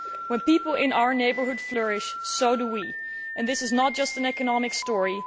When people in our neighbourhood flourish, so do we, and this is not just an economic story.